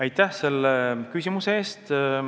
Aitäh selle küsimuse eest!